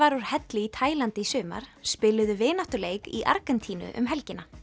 úr helli í Taílandi í sumar spiluðu vináttuleik í Argentínu um helgina